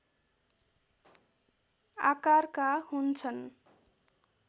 आकारका हुन्छन्